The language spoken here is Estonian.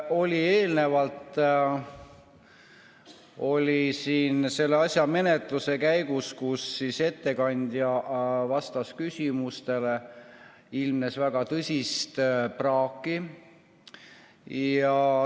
Nii nagu eelnevalt siin selle eelnõu menetluse käigus, kui ettekandja vastas küsimustele, oli näha, ilmnes väga tõsist praaki.